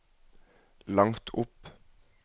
langt opp